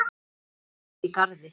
Þau eru búsett í Garði.